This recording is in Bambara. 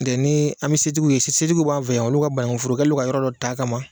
Ntɛ an bɛ setigiw ye setigiw b'an fɛ yan olu ka banankuforo u kɛlen don ka yɔrɔ dɔ t'a ka